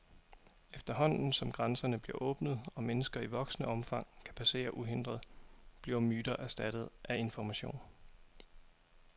Efterhånden, som grænserne bliver åbnet, og mennesker i voksende omfang kan passere uhindret, bliver myter erstattet af information.